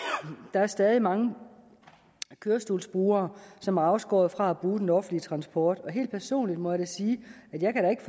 der er stadig mange kørestolsbrugere som er afskåret fra at bruge den offentlige transport og helt personligt må jeg sige at jeg da ikke